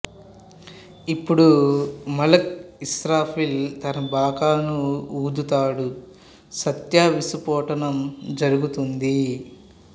అపుడు మలక్ ఇస్రాఫీల్ తన బాకాను ఊదుతాడు సత్య విస్ఫోటనం జరుగుతుంది